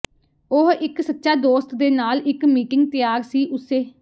ਉਹ ਇੱਕ ਸੱਚਾ ਦੋਸਤ ਦੇ ਨਾਲ ਇੱਕ ਮੀਟਿੰਗ ਤਿਆਰ ਸੀ ਉਸੇ